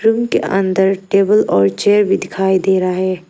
Room के अंदर table और चेयर भी दिखाई दे रहा है।